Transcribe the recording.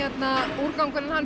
úrgangurinn